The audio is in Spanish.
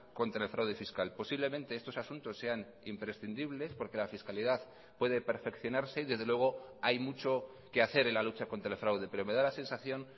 contra el fraude fiscal posiblemente estos asuntos sean imprescindibles porque la fiscalidad puede perfeccionarse y desde luego hay mucho que hacer en la lucha contra el fraude pero me da la sensación